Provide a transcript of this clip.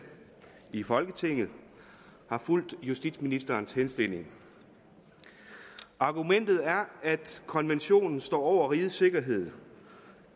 i folketinget har fulgt justitsministerens henstilling argumentet er at konventionen står over rigets sikkerhed